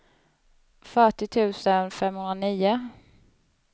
fyrtio tusen femhundranio